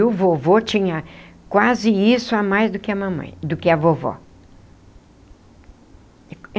E o vovô tinha quase isso a mais do que a mamãe... do que a vovó.